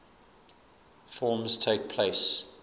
forms takes place